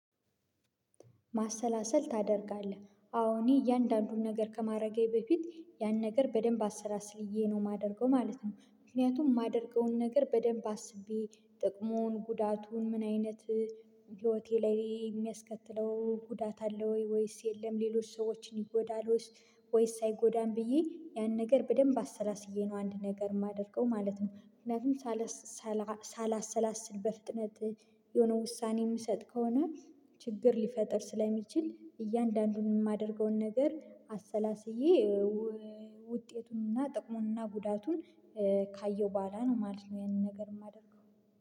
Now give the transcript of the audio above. ማሰላሰል ታደርጋለህ አሁን እያንዳንዱን ነገር ከማድረጌ በፊት ያን ነገር በደንብ አሰላስዬ ነው የማደርገው ማለት ነው። ምክንያቱም የማደርገውን ነገር በደንብ አስቤ ጥቅሙን ጉዳቱን ምን አይነት ህይወቴ ላይ የሚያስከትለው ጉዳት አለ ወይ ወይስ የለም ሌሎች ሰዎችን ይጎዳሉስ? ወይስ አይጎዳም ብዬ ያን ነገር በደንብ አሰላስዬ ነው አንድ ነገር የማደርገው ማለት ነው። ምክንያቱም ሳላሰላስል በፍጥነት የሆነ ውሳኔ የምሰጥ ከሆነ ችግር ሊፈጥር ስለሚችል እያንዳንዱን የማደርገውን ነገር አሰላስዬ ውጤቱንና ጥቅሙንና ጉዳቱን ካየው በኋላ ነው ማለት ነው። ይሄንን ነገር የማደርገው።